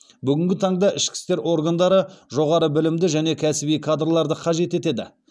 бүгінгі таңда ішкі істер органдары жоғары білімді және кәсіби кадрларды қажет етеді